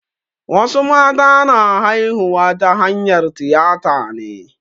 Wasu mata na haihuwa ta hanyar tiyata ne.